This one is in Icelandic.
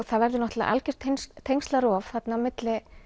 það verður náttúrulega algjört þarna á milli